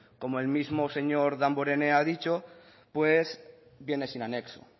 como el mismo señor damborenea ha dicho viene sin anexo